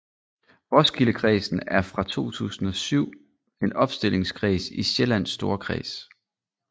Roskildekredsen er fra 2007 en opstillingskreds i Sjællands Storkreds